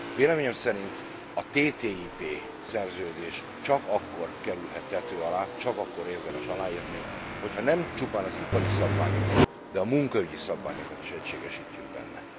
Véleményem szerint a TTIP szerződés csak akkor kerülhet tető alá, csak akkor érdemes aláírni, hogyha nem csupán az ipari szabványokat, de a munkaügyi szabványokat is egységesítjük benne.